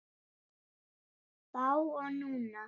Þá og núna.